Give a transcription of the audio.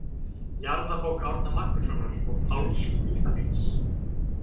Jarðabók Árna Magnússonar og Páls Vídalíns.